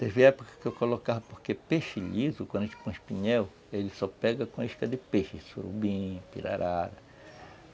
Teve época que eu colocava, porque peixe liso, quando a gente põe espinhel, ele só pega com isca de peixe, surubim, pirarara.